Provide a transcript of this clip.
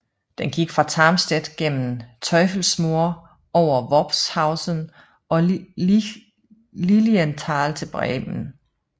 Den gik fra Tarmstedt gennem Teufelsmoor over Worphausen og Lilienthal til Bremen